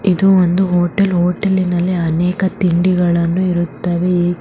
ಇದು ಒಂದು ಹೋಟೆಲ್‌ ಹೋಟೆಲಿನಲ್ಲಿ ಅನೇಕ ತಿಂಡಿಗಳನ್ನು ಇರುತ್ತವೆ ಈ --